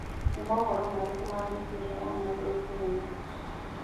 nĩ mohoro marĩkũ ma mĩbĩra ya maguru kenya